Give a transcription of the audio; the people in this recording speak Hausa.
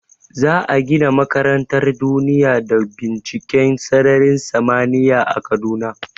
Za a gina makarantar duniya da binciken sararin samaniya a kaduna